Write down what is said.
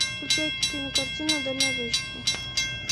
включай кинокартину дальнобойщики